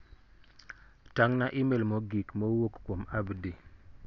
Tang'na imel mogik ma owuok kuom Abdi.